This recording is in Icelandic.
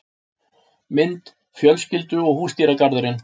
Mynd: Fjölskyldu og húsdýragarðurinn